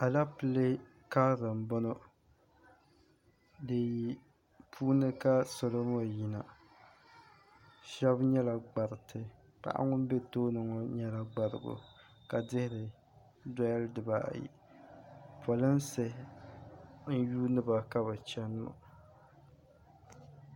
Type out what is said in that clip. aleepile karili m-bɔŋɔ di puuni ka salo ŋɔ yina shɛba nyɛla gbariti paɣa ŋuni be tooni ŋɔ nyɛla gbarigu ka dihiri dari dibaayi polinsi n-yuuni ba ka bɛ chani ŋɔ